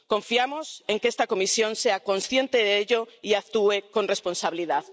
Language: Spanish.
Confiamos en que esta Comisión sea consciente de ello y actúe con responsabilidad.